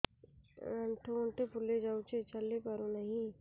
ଆଂଠୁ ଗଂଠି ଫୁଲି ଯାଉଛି ଚାଲି ପାରୁ ନାହିଁ